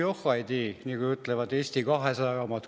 Johhaidii, nagu ütlevad Eesti 200 omad.